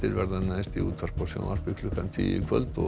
næst í útvarpi og sjónvarpi klukkan tíu í kvöld og